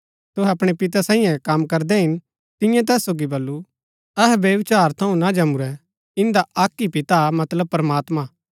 तूहै अपणै पितै साईयें कम करदै हिन तियें तैस सोगी वलु अहै व्यभिचार थऊँ ना जमुरै इन्दा अक्क ही पिता हा मतलब प्रमात्मां